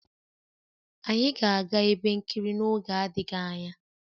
Anyị ga-aga ebe nkiri n'oge adịghị anya